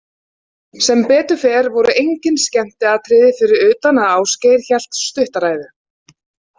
Sem betur fer voru engin skemmtiatriði fyrir utan að Ásgeir hélt stutta ræðu.